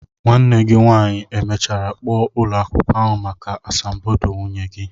Nwanne gi nwanyi e mechara kpo ulo akwukwo ahu maka asambodo nwunye gi?